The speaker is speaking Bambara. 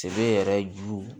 Sebe yɛrɛ ju